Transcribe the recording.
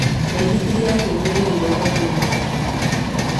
maithĩkĩri yake nĩ yaiyirwo thoko-inĩ ya Thika